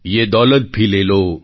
યે દૌલત ભી લે લો